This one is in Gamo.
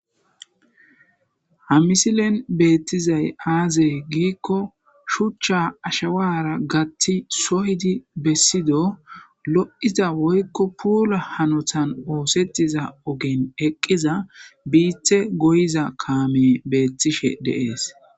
ha misilen beettizay aazey giikko shuchcha ashawara gatti soyidi bessido lo7iza woykko puola hanotan oosettiza ogen eqqiza biithe goyza kaame beettishe deees